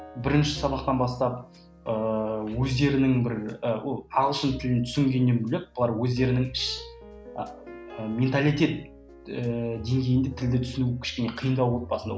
бірінші сабақтан бастап ыыы өздерінің бір ы ағылшын тілін түсінгеннен бөлек бұлар өздерінің іш і менталитет ііі деңгейінде тілді түсіну кішкене қиындау болды басында